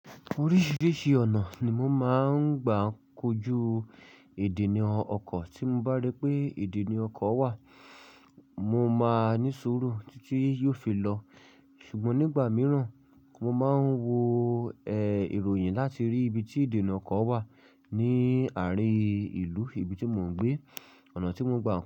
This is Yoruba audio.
Oríṣìíríṣìí ọ̀nà ni mo máa ń gbà kojú ìdènà ọkọ̀. Tí mo bá rí pé ìdènà ọkọ̀ wà, mo máa ní sùúrù tí tí yóò fi lọ. Ṣùgbọ́n nígbà mìíràn, mo máa ń wo eh ìròyìn láti rí ibi tí ìdènà nì ọkọ̀ wà ní àárín ìlú ibi tí mo ń gbé, ọ̀nà tí mo ń gbà.